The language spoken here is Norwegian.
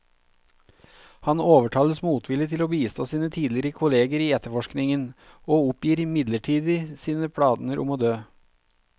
Han overtales motvillig til å bistå sine tidligere kolleger i etterforskningen, og oppgir midlertidig sine planer om å dø.